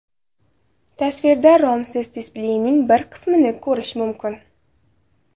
Tasvirda romsiz displeyning bir qismini ko‘rish mumkin.